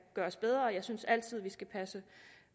gøres bedre jeg synes altid vi skal passe